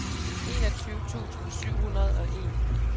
enogtyve tusind syv hundrede og en